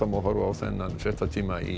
horfa á þennan fréttatíma í